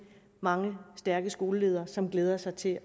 mange stærke skoleledere som glæder sig til